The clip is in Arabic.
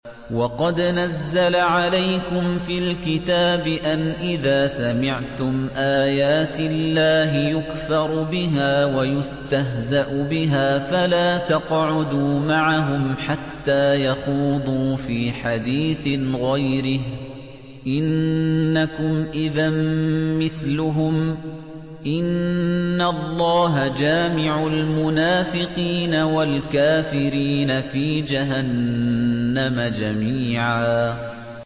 وَقَدْ نَزَّلَ عَلَيْكُمْ فِي الْكِتَابِ أَنْ إِذَا سَمِعْتُمْ آيَاتِ اللَّهِ يُكْفَرُ بِهَا وَيُسْتَهْزَأُ بِهَا فَلَا تَقْعُدُوا مَعَهُمْ حَتَّىٰ يَخُوضُوا فِي حَدِيثٍ غَيْرِهِ ۚ إِنَّكُمْ إِذًا مِّثْلُهُمْ ۗ إِنَّ اللَّهَ جَامِعُ الْمُنَافِقِينَ وَالْكَافِرِينَ فِي جَهَنَّمَ جَمِيعًا